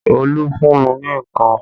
Olu fún mi ní ikàn